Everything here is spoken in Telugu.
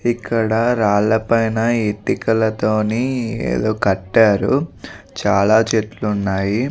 ఇక్కడ రాళ్లపైన ఇటుకలతోని ఏదో కట్టారు చాలా చెట్లు ఉన్నాయి.